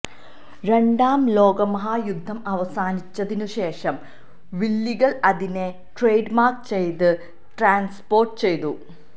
രണ്ടാം ലോകമഹായുദ്ധം അവസാനിച്ചതിനുശേഷം വില്ലികൾ അതിനെ ട്രേഡ്മാർക്ക് ചെയ്ത് ട്രാൻസ്പോർട്ട് ചെയ്തു